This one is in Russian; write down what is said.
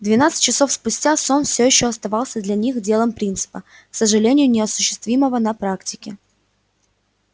двенадцать часов спустя сон всё ещё оставался для них делом принципа к сожалению неосуществимого на практике